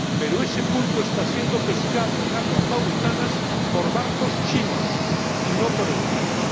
Pero ese pulpo está siendo pescado en aguas mauritanas por barcos chinos y no por barcos europeos.